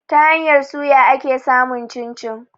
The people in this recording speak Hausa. Ta hanyar suya ake samun cin-cin.